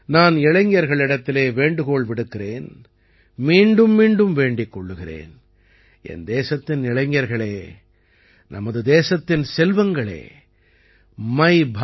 நான் இளைஞர்களிடத்திலே வேண்டுகோள் விடுக்கிறேன் மீண்டும்மீண்டும் வேண்டிக் கொள்கிறேன் என் தேசத்தின் இளைஞர்களே நமது தேசத்தின் செல்வங்களே MYBharat